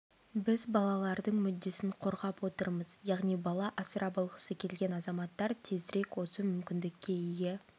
біз балалардың мүддесін қорғап отырмыз яғни бала асырап алғысы келген азаматтар тезірек осы мүмкіндікке ие